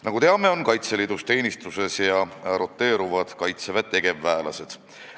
Nagu teame, on Kaitseväe tegevväelased Kaitseliidus teenistuses ja roteeruvad seal.